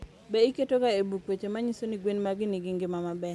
Be iketoga e buk weche ma nyiso ni gwen magi nigi ngima maber?